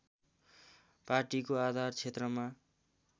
पार्टीको आधार क्षेत्रमा